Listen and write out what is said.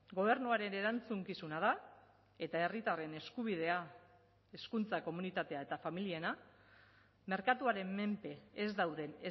gobernuaren erantzukizuna da eta herritarren eskubidea hezkuntza komunitatea eta familiena merkatuaren menpe ez dauden